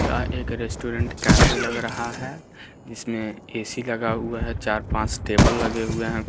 या एक restaurant cafe लग रहा है जिसमे ऐ_सी लगा हुआ है चार पाँच टेबल लगे हुए है।